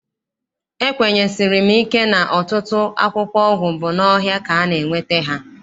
Ekwenyesiri m ike na ọtụtụ akwụkwọ ọgwụ bụ n'ọhịa ka a na- enweta ha.